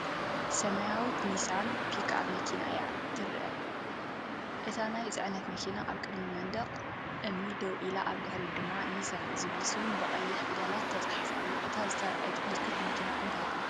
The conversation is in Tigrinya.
ሰማያዊት ኒሳን ፒክኣፕ መኪና እያ እተርኢ። እታ ናይ ጽዕነት መኪና ኣብ ቅድሚ መንደቕ እምኒ ደው ኢላ ኣብ ድሕሪት ድማ "ኒሳን" ዝብል ስም ብቐይሕ ፊደላት ተጻሒፉ ኣሎ። እታ ዝተርኣየት ምልክት መኪና እንታይ ትበሃል?